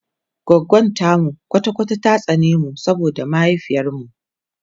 goggon tamu kwata kwata ta tsane mu saboda mahaifiyar mu